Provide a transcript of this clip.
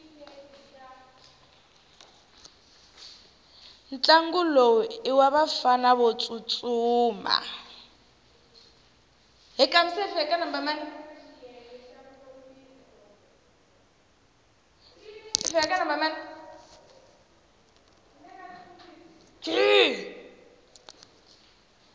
ntlangu lowu iwavafana votsutsuma